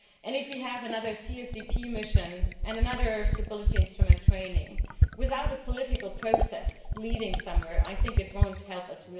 If we have another CSDP mission and another round of Stability Instrument training without a political process leading somewhere, I do not think it will help us.